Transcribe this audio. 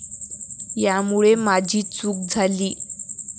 यामुळे माझी चूक झाली.